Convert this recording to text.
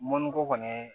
Mɔnniko kɔni